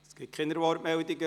Es gibt keine Wortmeldungen.